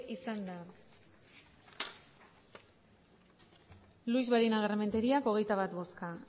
izan da luix barinagarrementeria hogeita bat bozka